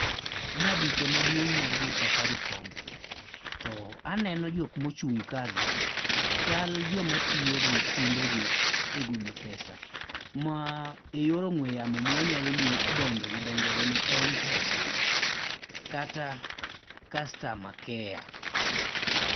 Ma duka maduong' mar jo safaricom, to aneno jok ma ochung' kagi chal joma tiyo gi simbegi e golo pesa ma eyor ong'ue yamo ma wanyalo dendo gi dho ngere ni m-pesa kata customer care.